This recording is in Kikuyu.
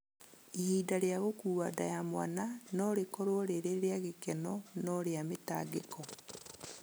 Ihinda rĩa gũkua nda ya mwana no rĩkorũo rĩrĩ rĩa gĩkeno no rĩa mĩtangĩko